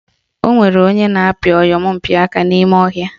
Onwere onye na-apị oyompịaka n'ime ọhịa